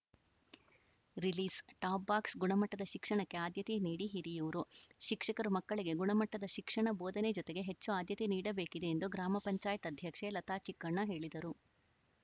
ರಿಲೀಸ್‌ಟಾಪ್‌ box ಗುಣಮಟ್ಟದ ಶಿಕ್ಷಣಕ್ಕೆ ಆದ್ಯತೆ ನೀಡಿ ಹಿರಿಯೂರು ಶಿಕ್ಷಕರು ಮಕ್ಕಳಿಗೆ ಗುಣಮಟ್ಟದ ಶಿಕ್ಷಣ ಬೋಧನೆ ಜೊತೆಗೆ ಹೆಚ್ಚು ಆದ್ಯತೆ ನೀಡಬೇಕಿದೆ ಎಂದು ಗ್ರಾಮ ಪಂಚಾಯತ್ ಅಧ್ಯಕ್ಷೆ ಲತಾಚಿಕ್ಕಣ್ಣ ಹೇಳಿದರು